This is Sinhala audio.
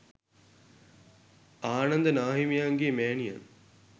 ආනන්ද නාහිමියන්ගේ මෑණියන්